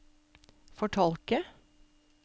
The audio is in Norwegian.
fortolke